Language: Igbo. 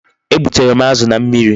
E gbutere m azu na mmiri